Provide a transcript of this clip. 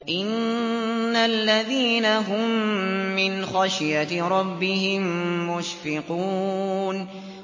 إِنَّ الَّذِينَ هُم مِّنْ خَشْيَةِ رَبِّهِم مُّشْفِقُونَ